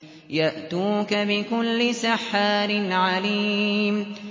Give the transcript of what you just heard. يَأْتُوكَ بِكُلِّ سَحَّارٍ عَلِيمٍ